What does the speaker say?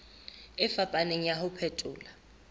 e fapaneng ya ho phethola